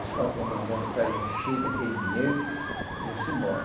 Esses quatro comandantes saíam cheios daquele dinheiro e iam-se embora.